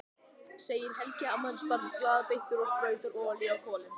segir Helgi afmælisbarn glaðbeittur og sprautar olíu á kolin.